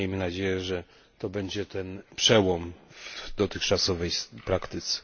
Miejmy nadzieję, że to będzie ten przełom w dotychczasowej praktyce.